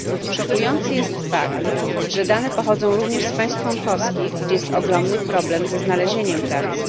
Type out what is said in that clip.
Szokujący jest fakt, że dane pochodzą również z państw członkowskich, gdzie jest ogromny problem ze znalezieniem pracy.